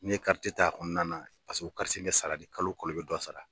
N'i ye kariti ta a kɔnɔna na pasiki o kariti in bɛ sara de kalo kolo i bɛ dɔ sara.